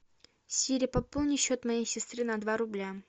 сири пополни счет моей сестры на два рубля